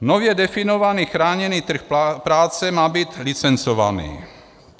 Nově definovaný chráněný trh práce má být licencovaný.